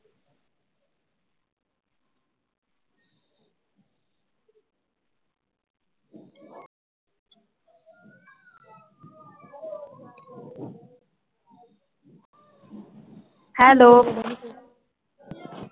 hello